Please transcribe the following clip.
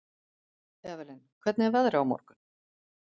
Evelyn, hvernig er veðrið á morgun?